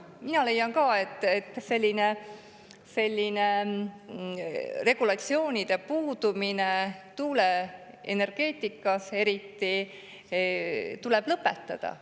Mina leian ka, et selline regulatsioonide puudumine, tuuleenergeetikas eriti, tuleb lõpetada.